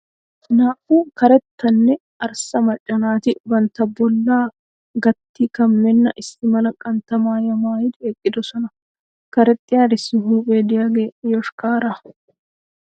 Naa"u karetta nne arssa macca naati bantta bollaa gatti kammenna issi mala qantta maayuwa maayidi eqqidosona. Karexxiyarissi huuphee diyagee yoshkkaaraa.